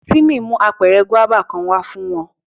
Timi mu apẹrẹ guaba kan wa fun u